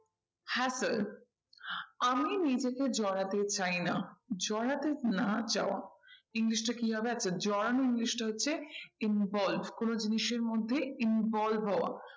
Hacker আমি নিজেকে জড়াতে চাই না। জড়াতে না চাওয়া english টা কি হবে একটা একটা জড়ানো english টা হচ্ছে involve কোনো জিনিসের মধ্যে involve হওয়া